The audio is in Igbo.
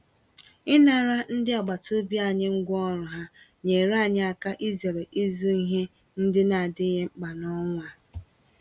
Ịnara ndị agbataobi anyị ngwá ọrụ ha, nyeere anyị aka izere ịzụ ihe ndị n'adịghị mkpa n'ọnwa a